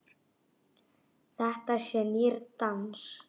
Þetta sé nýr dans.